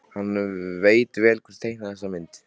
Hann veit vel hver teiknaði þessa mynd.